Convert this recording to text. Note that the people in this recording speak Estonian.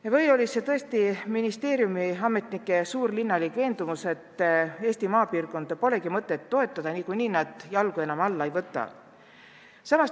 Kas tõesti oli selle taga linnas elavate ministeeriumi ametnike veendumus, et Eesti maapiirkondi pole mõtet toetada, niikuinii nad jalgu enam alla ei võta?